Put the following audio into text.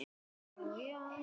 Þín litla frænka, Íris Björk.